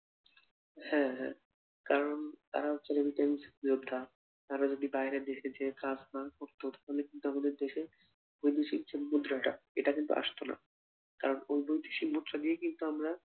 হ্যাঁ হ্যাঁ কারণ তারা হচ্ছে remittance যোদ্ধা তারা যদি বাইরে দেশে যেয়ে কাজ না করতো তাহলে কিন্তু আমাদের দেশে বৈদেশিক যে মুদ্রাটা এটা কিন্তু আসতো না কারণ ওই বৈদেশিক মুদ্রা দিয়েই কিন্তু আমরা